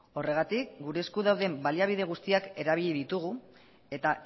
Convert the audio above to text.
horregatik gure esku dauden baliabide guztiak erabili ditugu eta